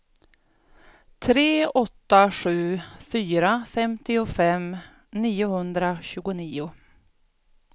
tre åtta sju fyra femtiofem niohundratjugonio